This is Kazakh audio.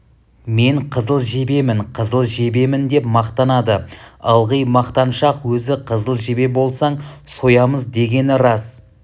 мен қызыл жебемін қызыл жебемін деп мақтанады ылғи мақтаншақ өзі қызыл жебе болсаң соямыз дегенім рас